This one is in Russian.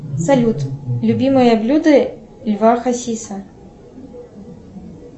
салют любимое блюдо льва хасиса